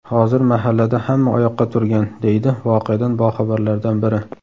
Hozir mahallada hamma oyoqqa turgan”, deydi voqeadan boxabarlardan biri.